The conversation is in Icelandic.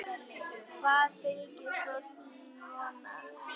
Hvað fylgir svo svona skipum?